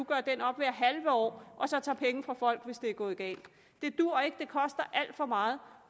gør den op hvert halve år og så tager penge fra folk hvis det er gået galt det duer ikke det koster alt for meget